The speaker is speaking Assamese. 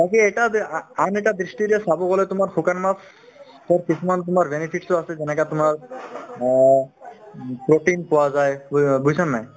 তাকে এটা যে আ~ আন এটা দৃষ্টিৰে চাব গ'লে তোমাৰ শুকান মাছ তাত কিছুমান তোমাৰ benefits ও আছে যেনেকা তোমাৰ অ উম protein পোৱা যায় ব্যু~ বুজিছানে নাই